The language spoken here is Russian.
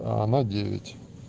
она девять